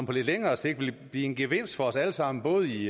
på lidt længere sigt vil blive en gevinst for os alle sammen både i